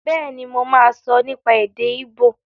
Bẹ́ẹ̀ni, mo máa sọ nípa èdè ígbò